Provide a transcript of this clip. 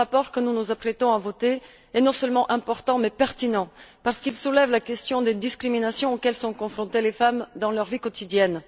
Le rapport que nous nous apprêtons à voter est non seulement important, mais aussi pertinent, parce qu'il soulève la question des discriminations auxquelles sont confrontées les femmes dans leur vie quotidienne.